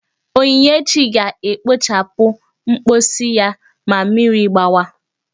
Onyinyechi ga-ekpochapụ mposi ya ma mmiri gbawa!